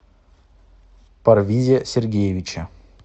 парвизе сергеевиче